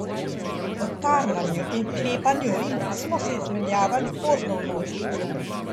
V tarnanju in klepanju rim smo se izmenjavali pozno v noč.